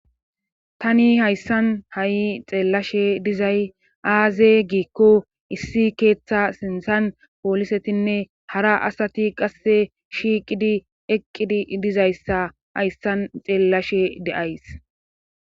tani hayssan ha'i xeellashe dizay aaze giikko issi keeththa sinsan poolisetinne hara asati qasse shiiqidi eqqidi dizayssa hayssan xeellashe de'ays